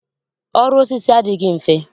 Ọrụ osisi adịghị mfe